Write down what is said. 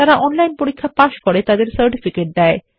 যারা অনলাইন পরীক্ষা পাস করে তাদের সার্টিফিকেট দেয়